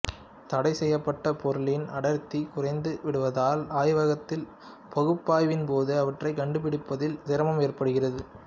தடை செய்யப்பட்ட பொருளின் அடர்த்தி குறைந்து விடுவதால் ஆய்வகத்தில் பகுப்பய்வின்போது அவற்றை கண்டுபிடிப்பதில் சிரமம் ஏற்படுகிறது